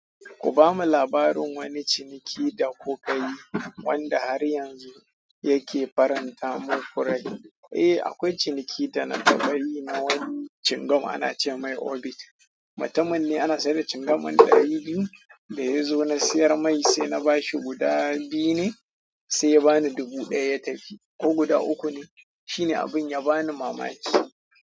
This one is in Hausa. Ku bamu labarin wani ciniki da kuka yi wanda har yanzu yake faranta muku rai. Eh, akwai ciniki da na taɓa yi na wani cingam ana ce mai orbit. Mutumin ne ana sayar da cingam din ɗari biyu. Da ya zo na siyar mai sai na bashi guda biyu ne sai ya ba ni dubu ɗaya ya tafi ko guda uku ne. Shine abin ya ba ni mamaki.